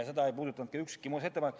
Seda ei puudutanud ka ükski muudatusettepanek.